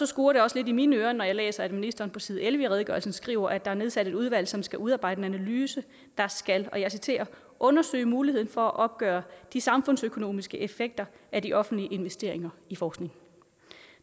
skurrer det også lidt i mine ører når jeg læser at ministeren på side elleve i redegørelsen skriver at der er nedsat et udvalg som skal udarbejde en analyse der skal og jeg citerer undersøge muligheden for at opgøre de samfundsøkonomiske effekter af de offentlige investeringer i forskning